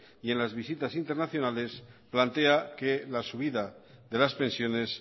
y en las visitas internacionales plantea que las subidas de las pensiones